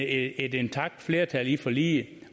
intakt flertal bag forliget